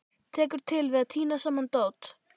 Tekur til við að tína saman dót.